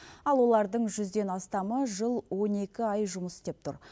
ал олардың жүзден астамы жыл он екі ай жұмыс істеп тұр